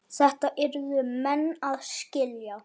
Þetta yrðu menn að skilja.